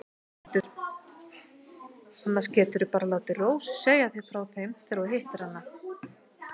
Annars geturðu bara látið Rósu segja þér frá þeim þegar þú hittir hana.